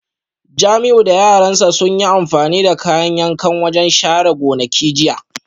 Jamiu da yaran sa sun yi amfani da kayan yankan wajen share gonakin jiya